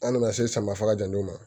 An nana se samafara jan dɔw ma